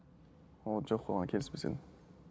оған жоқ оған келіспес едім